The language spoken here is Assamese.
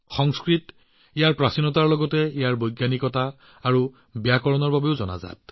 সংস্কৃত প্ৰাচীনতাৰ লগতে বৈজ্ঞানিকতা আৰু ব্যাকৰণৰ বাবেও পৰিচিত